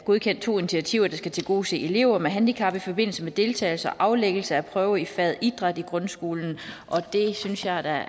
godkendt to initiativer der skal tilgodese elever med handicap i forbindelse med deltagelse og aflæggelse af prøve i faget idræt i grundskolen og det synes jeg er